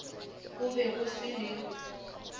go be go se le